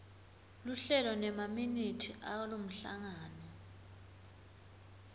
luhlelo nemaminithi alomhlangano